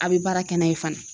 A be baara kɛ n'a ye fana.